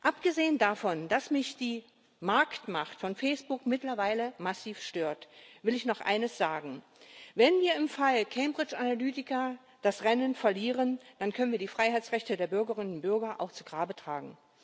Abgesehen davon, dass mich die Marktmacht von Facebook mittlerweile massiv stört, will ich noch eines sagen Wenn wir im Fall Cambridge Analytica das Rennen verlieren, dann können wir die Freiheitsrechte der Bürgerinnen und Bürger auch zu Grabe tragen.